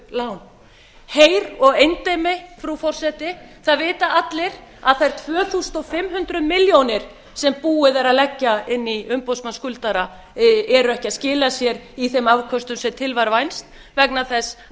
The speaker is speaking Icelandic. lán heyr á endemi frú forseti það vita allir að þær tvö þúsund fimm hundruð milljónir sem búið er að leggja inn í umboðsmann skuldara eru ekki að skila sér í þeim afköstum sem til var vænst vegna þess